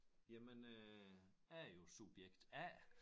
Jamen øh jeg er jo subjekt A